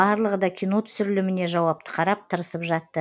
барлығы да кино түсіріліміне жауапты қарап тырысып жатты